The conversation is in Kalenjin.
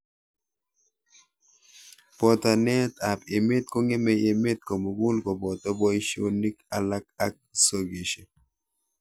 Botanet ab emet kong'emei emet komukul koboto boishonik alak ak sokeshek.